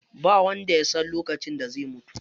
Ba wanda yasan lokacin da zai mutu.